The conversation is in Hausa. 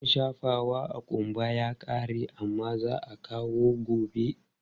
Man shafawa a ƙumba ya ƙare amma za a kawo gobe.